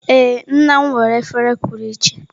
Ee nna m nwere efere pụrụ iche.